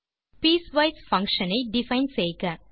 piecewise function ஐ define செய்க